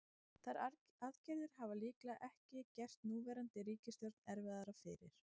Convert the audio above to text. Þær aðgerðir hafa líklega ekki gert núverandi ríkisstjórn erfiðara fyrir.